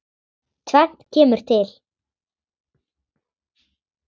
Tvennt kemur til.